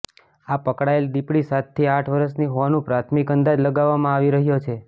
આ પકડાયેલ દીપડી સાતથી આઠ વર્ષની હોવાનું પ્રાથમિક અંદાજ લગાવવામાં આવી રહ્યો છે